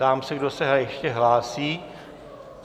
Ptám se, kdo se ještě hlásí.